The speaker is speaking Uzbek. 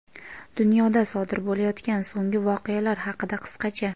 Dunyoda sodir bo‘layotgan so‘nggi voqealar haqida qisqacha:.